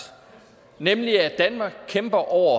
nemlig at danmark kæmper over